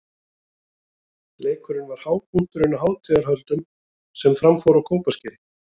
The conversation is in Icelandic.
Leikurinn var hápunkturinn á hátíðarhöldum sem fram fóru á Kópaskeri.